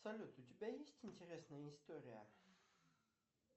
салют у тебя есть интересная история